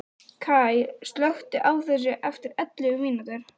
Kaj, slökktu á þessu eftir ellefu mínútur.